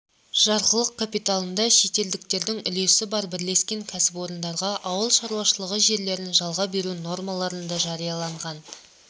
жарғылық капиталында шетелдіктердің үлесі бар бірлескен кәсіпорындарға ауыл шаруашылығы жерлерін жалға беру нормаларын да жарияланған